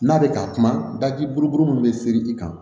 N'a bɛ ka kuma daki bolo min bɛ seri i kan